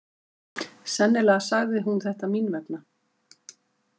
Sennilega sagði hún þetta mín vegna.